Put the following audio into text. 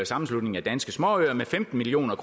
sammenslutningen af danske småøer med femten million